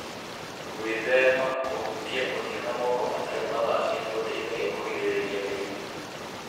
Gwĩthema kũhutia ũthiũ na moko matarĩ mathambie nĩ gũteithagia kũgirĩrĩria mĩrimũ.